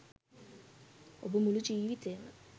ඔබ මුළු ජීවිතයේම